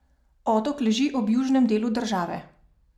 Otok leži ob južnem delu države.